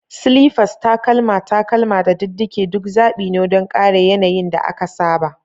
Slippers, takalma, takalma, da diddige duk zabi ne don ƙare yanayin da aka saba.